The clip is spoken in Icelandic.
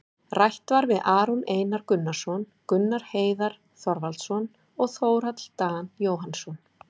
Rætt var við Aron Einar Gunnarsson, Gunnar Heiðar Þorvaldsson og Þórhall Dan Jóhannsson,